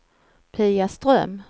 Pia Ström